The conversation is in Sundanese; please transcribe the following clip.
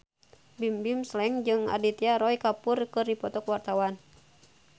Bimbim Slank jeung Aditya Roy Kapoor keur dipoto ku wartawan